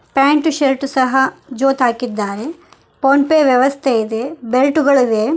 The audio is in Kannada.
ಪ್ಯಾಂಟ್ ಶರ್ಟ್ ಸಹ ಜೋತಾಕಿದ್ದಾರೆ ಫೋನ್ ಪೇ ವ್ಯವಸ್ಥೆ ಇದೆ ಬೆಲ್ಟ್ ಗಳು ಇವೆ.